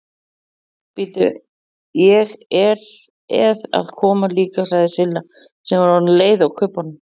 Bíddu, ég eð að koma líka sagði Silla sem var orðin leið á kubbunum.